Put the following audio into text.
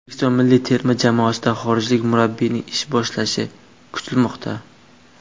O‘zbekiston milliy terma jamoasida xorijlik murabbiyning ish boshlashi kutilmoqda.